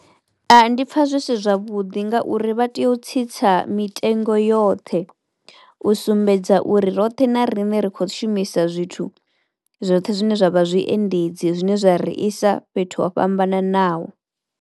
Ndi pfa zwi si zwavhuḓi ngauri vha tea u tsitsa mitengo yoṱhe u sumbedza uri roṱhe na riṋe ri kho shumisa zwithu zwoṱhe zwine zwa vha zwi endedzi zwine zwa ri isa fhethu ho fhambananaho.